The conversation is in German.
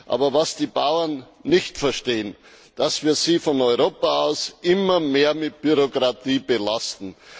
Aber was die Bauern nicht verstehen, ist, dass wir sie von Europa aus immer mehr mit Bürokratie belasten.